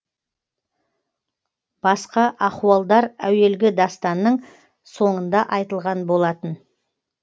басқа ахуалдар әуелгі дастанның соңында айтылған болатын